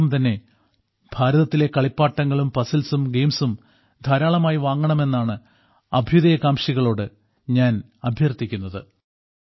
അതോടൊപ്പം തന്നെ ഭാരതത്തിലെ കളിപ്പാട്ടങ്ങളും പസിൽസും ഗയിംസും ധാരാളമായി വാങ്ങണമെന്നാണ് അഭ്യുദയകാംക്ഷികളോട് ഞാൻ അഭ്യർത്ഥിക്കുന്നത്